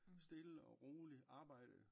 Stille og rolig arbejde